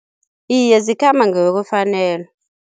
Iye zikhamba ngokwefanelo.